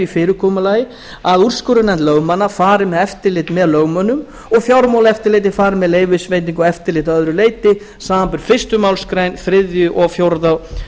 fyrirkomulagi að úrskurðarnefnd lögmanna fari með eftirlit með lögmönnum og fjármálaeftirlitið fari með leyfisveitingu og eftirlit að öðru leyti samanber fyrstu málsgrein